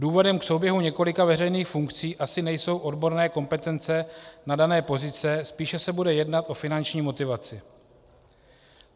Důvodem k souběhu několika veřejných funkcí asi nejsou odborné kompetence na dané pozice, spíše se bude jednat o finanční motivaci.